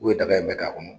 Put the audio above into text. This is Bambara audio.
U ye daga in bɛɛ k'a kɔnɔ